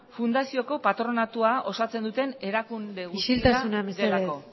fundazioko patronatua osatzen duten erakunde guztia delako isiltasuna mesedez